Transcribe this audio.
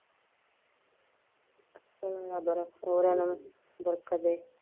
ਹੋਰ ਹੋਰਾਂ ਇਨ੍ਹਾਂ ਨੂੰ ਬਰਕਤ ਦੇ।